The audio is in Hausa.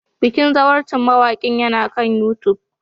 Bikin zawarcin mawakin yana kan YouTube